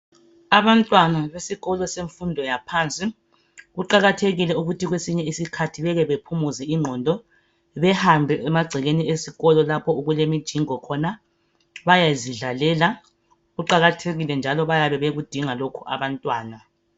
Abantwana besikolo semfundo yaphansi, Kuqakathekile ukuthi kwesinye isikhathi bake baphumuze ingqondo. Behambe emagcekeni esikolo, lapho okulemijingo khona. Bayezidlalela. Kuqakathekile, njalo bayakudinga lokhu abantwana.